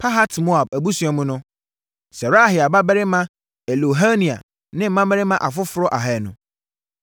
Pahat-Moab abusua mu no: Serahia babarima Eliehoenai ne mmarima afoforɔ ahanu.